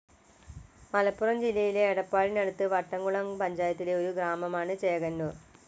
മലപ്പുറം ജില്ലയിലെ എടപ്പാളിനടുത്ത് വട്ടംകുളം പഞ്ചായത്തിലെ ഒരു ഗ്രാമമാണ് ചേകനൂർ.